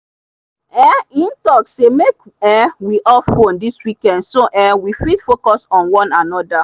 um e talk sey make um we off phone this weekend so um we fit focus on wan anoda.